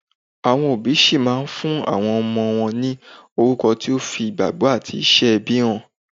Àwọn òbí ṣì máa fún àwọn ọmọ wọn ní orúkọ tó fi ìgbàgbọ́ àti iṣẹ́ ẹbí hàn.